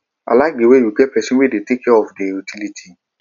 i like the way you get person wey sabi to dey take care of the utilities